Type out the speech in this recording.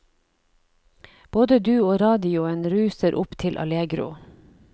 Både du og radioen ruser opp til allegro.